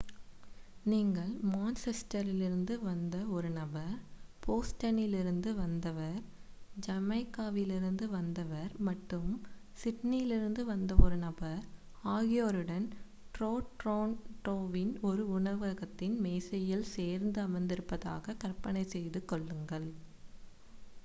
நீங்கள் மான்செஸ்டரிலிருந்து வந்த ஒரு நபர் போஸ்டனிலிருந்து வந்தவர் ஜமைக்காவிலிருந்து வந்தவர் மற்றும் சிட்னியிலிருந்து வந்த ஒரு நபர் ஆகியோருடன் டோரோன்டோவின் ஒரு உணவகத்தின் மேசையில் சேர்ந்து அமர்ந்திருப்பதாக கற்பனை செய்து கொள்ளுங்கள்